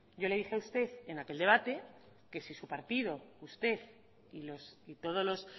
yo le dije a usted en aquel debate que si su partido y todos los